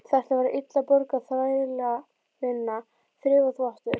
Þetta var illa borguð þrælavinna, þrif og þvottur.